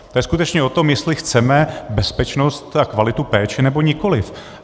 To je skutečně o tom, jestli chceme bezpečnost a kvalitu péče, nebo nikoliv.